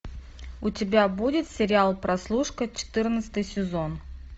у тебя будет сериал прослушка четырнадцатый сезон